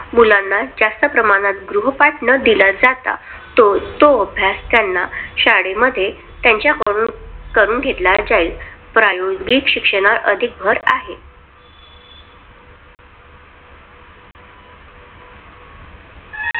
मुलांना जास्त प्रमाणात गृहपाठ न दिला जाता, तो तो अभ्यास त्यांना शाळेमध्ये त्याच्या करून घेतला जाईल. प्रायोजित शिक्षणावर अधिक भर आहे.